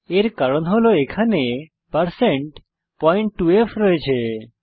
এর কারণ হল এখানে 2f আছে